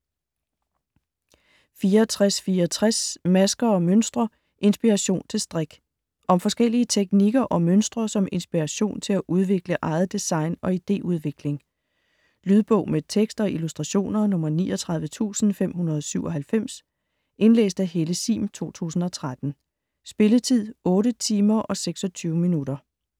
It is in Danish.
64.64 Masker & mønstre: inspiration til strik Om forskellige teknikker og mønstre som inspiration til at udvikle eget design og ideudvikling. Lydbog med tekst og illustrationer 39597 Indlæst af Helle Sihm, 2013. Spilletid: 8 timer, 26 minutter.